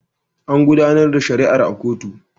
An gudanar da shari'a a kotu.